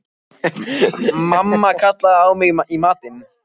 Mummi kallaði á mig í matinn.